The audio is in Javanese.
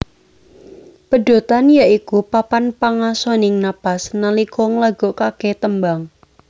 Pedhotan ya iku papan pangasoning napas nalika nglagokake tembang